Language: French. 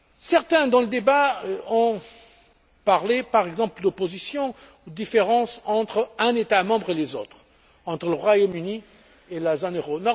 Certains, dans le débat, ont parlé, par exemple, d'opposition ou de différences entre un État membre et les autres, entre le Royaume Uni et la zone euro.